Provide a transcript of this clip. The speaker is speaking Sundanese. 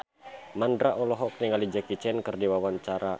Mandra olohok ningali Jackie Chan keur diwawancara